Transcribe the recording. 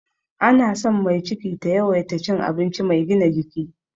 Ana son mai ciki ta yawaita cin abinci mai gina jiki.